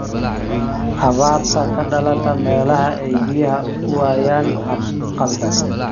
Abaarta ka dhalata meelaha ay biyaha ku waayaan habab khaldan.